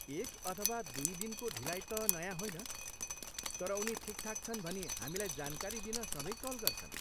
एक अथवा दुई दिनको ढिलाइ त नयाँ होइन, तर उनी ठिकठाक छन् भनी हामीलाई जानकारी दिन सधैँ कल गर्छन्।